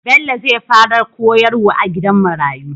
Bello zai fara koyar wa a gidan marayu